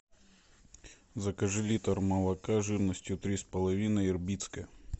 закажи литр молока жирностью три с половиной ирбитское